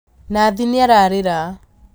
Nathi nĩararĩra